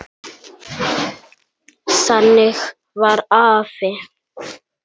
Þannig var afi.